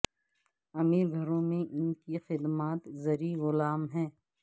امیر گھروں میں ان کی خدمات زرعی غلام ہیں